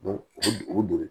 o don